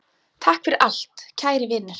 Takk fyrir allt, kæri vinur.